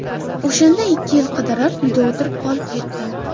O‘shanda ikki yil ish qidirib, uyda o‘tirib qolib ketdim.